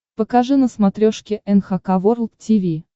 покажи на смотрешке эн эйч кей волд ти ви